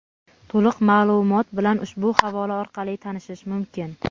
To‘liq maʼlumot bilan ushbu havola orqali tanishish mumkin.